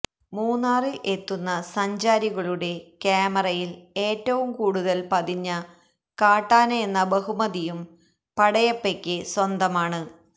മൂന്നാറിൽ എത്തുന്ന സഞ്ചാരികളുടെ ക്യാമറയിൽ ഏറ്റവും കൂടുതൽ പതിഞ്ഞ കാട്ടാനയെന്ന ബഹുമതിയും പടയപ്പയ്ക്ക് സ്വന്തമാണ്